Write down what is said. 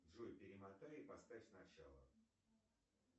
джой перемотай и поставь сначала